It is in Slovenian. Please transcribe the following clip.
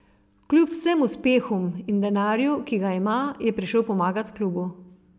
Kljub vsem uspehom in denarju, ki ga ima, je prišel pomagat klubu.